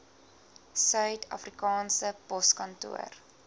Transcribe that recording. suid afrikaanse poskantoor